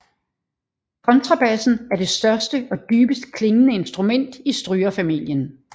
Kontrabassen er det største og dybest klingende instrument i strygerfamilien